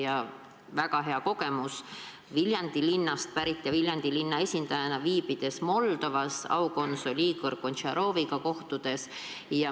Mul on väga hea kogemus: Viljandi linnast pärit inimesena ja Viljandi linna esindajana kohtusin ma Moldovas aukonsul Igor Goncearoviga.